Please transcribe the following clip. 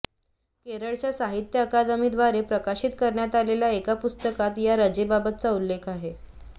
केरळच्या साहित्य अकादमीद्वारे प्रकाशित करण्यात आलेल्या एका पुस्तकात या रजेबाबतचा उल्लेख आहे